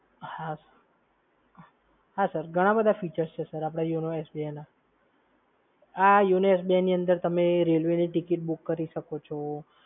હા, હા સર ઘણા બધા features છે સર આપડા yonosbi ના. આ yonosbi ની અંદર તમે રેલવેની ટિકિટ બુક કરી શકો છો.